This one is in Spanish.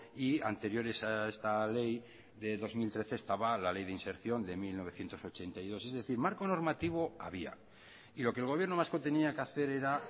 y anteriores a esta ley de dos mil trece estaba la ley de inserción de mil novecientos ochenta y dos es decir marco normativo había y lo que el gobierno vasco tenía que hacer era